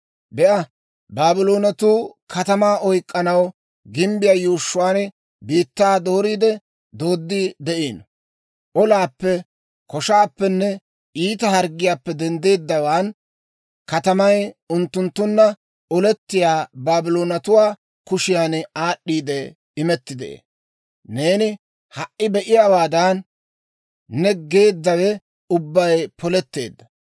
«Be'a, Baabloonetuu katamaa oyk'k'anaw gimbbiyaa yuushshuwaan biittaa dooriide dooddi de'iino; olaappe, koshaappenne iita harggiyaappe denddeeddawaan, katamay unttunttunna olettiyaa Baabloonatuwaa kushiyan aad'd'iide imetti de'ee. Neeni ha"i be'iyaawaadan, ne geeddawe ubbay poletteedda.